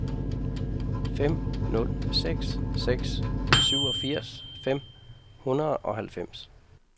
fem nul seks seks syvogfirs fem hundrede og halvfems